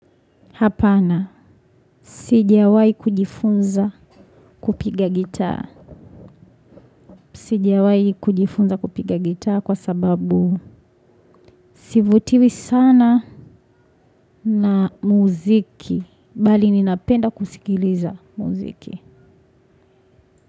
Hapana. Sijawahi kujifunza kupiga gitaa. Sijawahi kujifunza kupiga gitaa kwa sababu. Sivutiwi sana na muziki. Bali ninapenda kusikiliza muziki.